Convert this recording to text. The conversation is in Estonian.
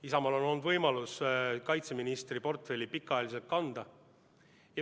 Isamaal on olnud võimalus kaitseministri portfelli pikka aega kanda.